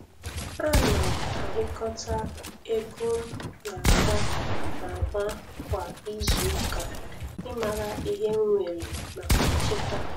Ana m axhịkọta ego m n'agba n'agba kwa izu ụka ịmara ihe m nwere maka nchekwa.